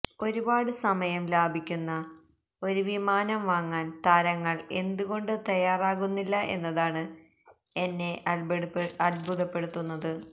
ഒരുപാട് സമയം ലാഭിക്കുന്ന ഒരു വിമാനം വാങ്ങാന് താരങ്ങള് എന്തുകൊണ്ട് തയ്യാറാകുന്നില്ല എന്നതാണ് എന്നെ അത്ഭുതപ്പെടുത്തുന്നത്